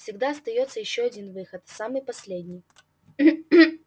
всегда остаётся ещё один выход самый последний